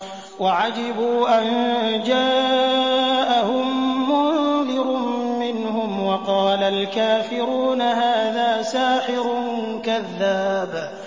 وَعَجِبُوا أَن جَاءَهُم مُّنذِرٌ مِّنْهُمْ ۖ وَقَالَ الْكَافِرُونَ هَٰذَا سَاحِرٌ كَذَّابٌ